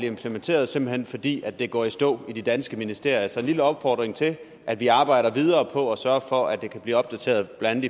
implementeret simpelt hen fordi det går i stå i de danske ministerier så en lille opfordring til at vi arbejder videre på at sørge for at det kan blive opdateret blandt